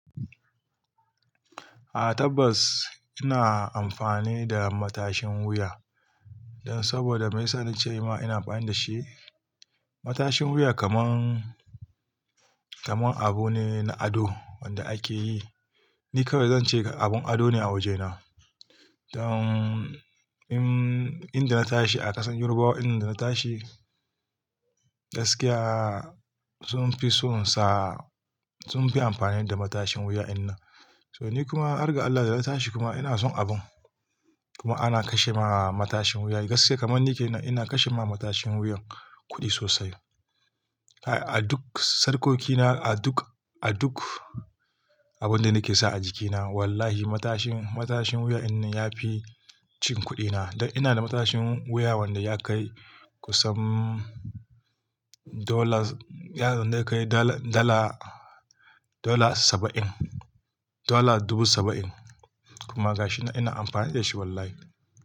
A tabbas ina amfani da matashin wuya don saboda mun sani ce wa ina amfani da shi. Matashin wuya kaman, kaman abu ne na ado wanda ake yi. Ni kawai zan ce abun ado ne a wajena. Don in, inda na tashi a ƙasan Yorubawa, inda na tashi gaskiya sun fi son sa, sun fi amfani da matashin wuya innan. To ni kuma, arga Allah da na tashi kuma ina son abun. Kuma ana kashe ma matashin wuya gaskiya kamar nike ina, ina kashe ma matashin wuyan kuɗi sosai. A duk sarƙokina, a duk, a duk abunda nake sa a jikina wallahi matashin, matashin wuya ina ya fi cin kuɗina. Don ina da matashin wuya wanda ya kai kusan dollars, yana da kai dollar, dollar, dollar saba'in, dala dubu saba'in. Kuma gashi ina amfani da shi wallahi.